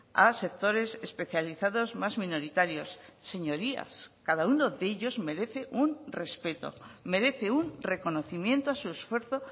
a sectores especializados más minoritarios señorías cada uno de ellos merece un respeto merece un reconocimiento a su esfuerzo